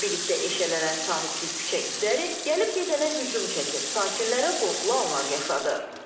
Zibillikdə eşələnən sahibsiz küçə itləri gəlib-gedənə hücum çəkir, sakinlərə qorxulu anlar yaşadır.